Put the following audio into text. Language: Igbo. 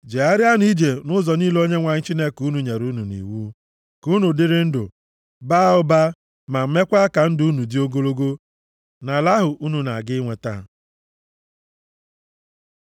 Jegharịanụ ije nʼụzọ niile Onyenwe anyị Chineke unu nyere unu nʼiwu, ka unu dịrị ndụ, baa ụba, ma meekwa ka ndụ unu dị ogologo nʼala ahụ unu na-aga inweta.